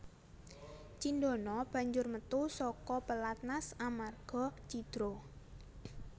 Cindana banjur metu saka pelatnas amarga cidra